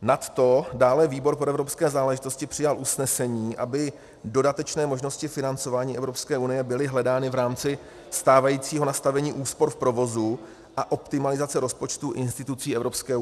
Nadto dále výbor pro evropské záležitosti přijal usnesení, aby dodatečné možnosti financování EU byly hledány v rámci stávajícího nastavení úspor v provozu a optimalizace rozpočtů institucí EU.